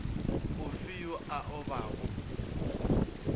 o fe yo a obago